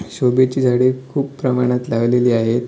शोभेची झाडे खूप प्रमाणात लावलेली आहेत.